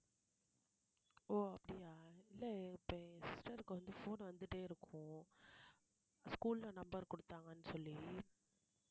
ஓ அப்டியா இல்லை இப்ப என் sister க்கு வந்து phone வந்துட்டே இருக்கும் school ல number குடுத்தாங்கன்னு சொல்லி